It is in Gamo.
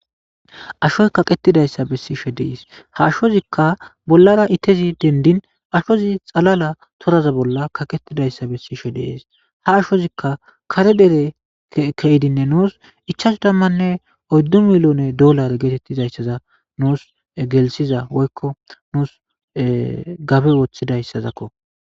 Ashoy kaqetidayssa bessishe dees ha ashozikka bollara ittezi dendin ashozi xalala toraza bolla kaqetidayssa bessishe dees ha ashozikka kare dere keyidinne nuus ichaso dammanne oddu milyone dollare geetettizayssaza nuus gelisiza woykko nuus gabe woththidayssazakko